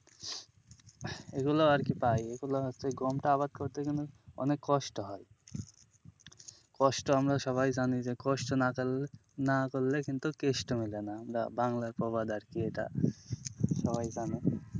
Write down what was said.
এগুলো আরকি পাই এগুলো হচ্ছে গমটা আবাদ করতে কিন্তু অনেক কষ্ট হয় কষ্ট আমরা সবাই জানি যে কষ্ট না করলে কিন্তু কেষ্ট মেলেনা বাংলায় প্রবাদ আছে এটা সবাই জানে,